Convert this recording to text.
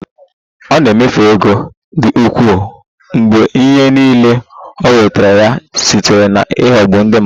Ọ na-emefu ego dị ukwuu mgbe ihe niile o nwetara ya site na ịghọgbu ndị mmadụ